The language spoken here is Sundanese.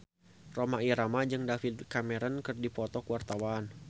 Rhoma Irama jeung David Cameron keur dipoto ku wartawan